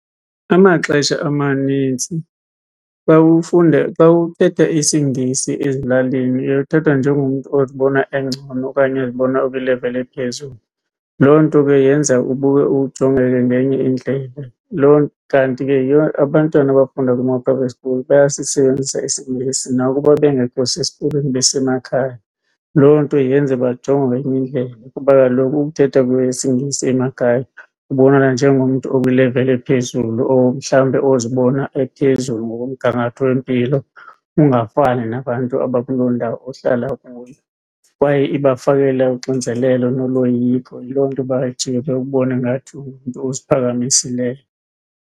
Amaxesha amanintsi xa ufunde xa uthetha isiNgesi ezilalini uye uthathwe njengomntu ozibona engcono okanye ozibona ekwileveli ephezulu. Loo nto ke yenza ujongeke ngenye indlela loo, kanti ke yiyo abantwana abafunda kuma-private school bayasisebenzisa isiNgesi nakuba bengekho sesikolweni besemakhaya. Loo nto yenze bajongwe ngenye indlela kuba kaloku ukuthetha kwesiNgesi emakhaya ubonakala njengomntu okwileveli ephezulu or mhlawumbi ozibona ephezulu ngokomgangatho wempilo, ungafani nabantu abakuloo ndawo ohlala kuyo. Kwaye ibafakela uxinzelelo noloyiko, yiloo nto bajike bakubone ngathi ungumntu oziphakamisileyo.